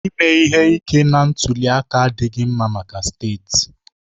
Ime ihe ike na ntuli aka adịghị mma maka steeti